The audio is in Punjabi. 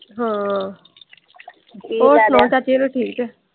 ਹੋਰ ਚਾਚੀ ਵਲੋਂ ਠੀਕ ਆ।